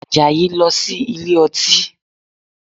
Àjàyí lọ sí ilé ọtí